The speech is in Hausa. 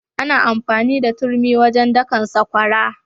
Ana amfani da turmi wajen dakan sakwara.